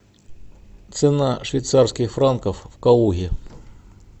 цена швейцарских франков в калуге